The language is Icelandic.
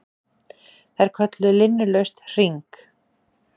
Þær kölluðu linnulaust HRING!